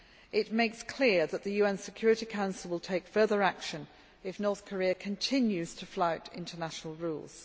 It makes clear that the UN Security Council will take further action if North Korea continues to flout international rules.